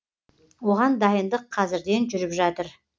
оған дайындық қазірден жүріп жатыр